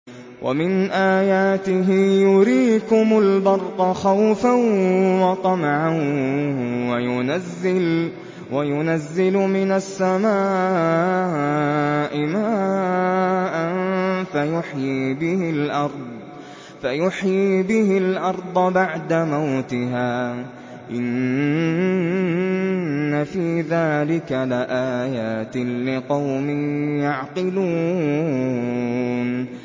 وَمِنْ آيَاتِهِ يُرِيكُمُ الْبَرْقَ خَوْفًا وَطَمَعًا وَيُنَزِّلُ مِنَ السَّمَاءِ مَاءً فَيُحْيِي بِهِ الْأَرْضَ بَعْدَ مَوْتِهَا ۚ إِنَّ فِي ذَٰلِكَ لَآيَاتٍ لِّقَوْمٍ يَعْقِلُونَ